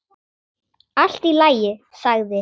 Allt í lagi sagði